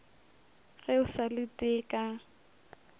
ge o sa lete ka